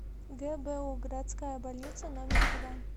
гбу городская больница номер два